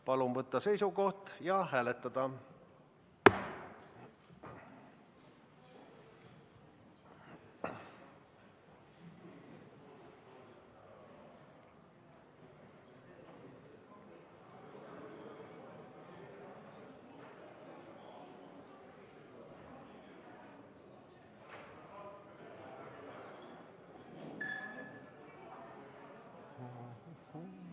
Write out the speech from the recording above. Palun võtta seisukoht ja hääletada!